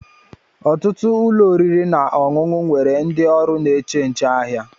ọtụtụ ụlọ oriri na ọṅụṅụ nwere ndị oru n'eche nche ahia